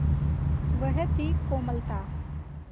वह थी कोमलता